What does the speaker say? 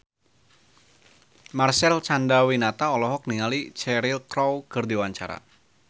Marcel Chandrawinata olohok ningali Cheryl Crow keur diwawancara